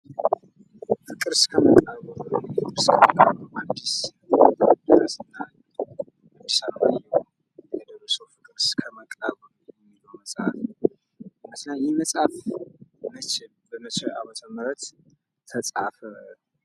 ፍቅር እስከ መቃብር ሀዲስ አለማየሁ የደረሰው ፍቅር እስከ መቃብር የሚለው መጽሐፍ ነው። ይህ መጽሐፍ በስንት ዓመተ ምህረት ተጻፈ?